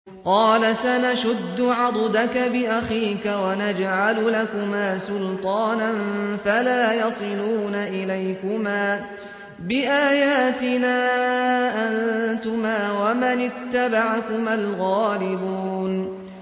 قَالَ سَنَشُدُّ عَضُدَكَ بِأَخِيكَ وَنَجْعَلُ لَكُمَا سُلْطَانًا فَلَا يَصِلُونَ إِلَيْكُمَا ۚ بِآيَاتِنَا أَنتُمَا وَمَنِ اتَّبَعَكُمَا الْغَالِبُونَ